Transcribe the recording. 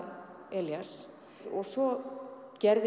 Elías og svo gerði